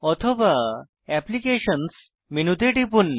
অথবা অ্যাপ্লিকেশনস মেনুতে টিপুন